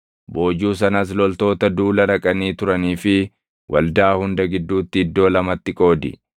Boojuu sanas loltoota duula dhaqanii turanii fi waldaa hunda gidduutti iddoo lamatti qoodi.